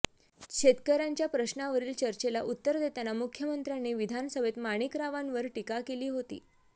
शेतकऱ्यांच्या प्रश्नावरील चर्चेला उत्तर देताना मुख्यमंत्र्यांनी विधानसभेत माणिकरावांवर टीका केली होती